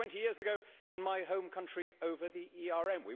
We heard it 20 years ago in my home country over the ERM.